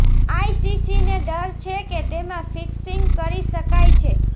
આઈસીસીને ડર છે કે તેમાં ફિક્સિંગ કરી શકાય છે